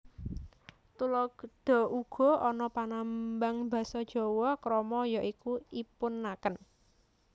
Tuladha Uga ana panambang basa Jawa krama ya iku ipun aken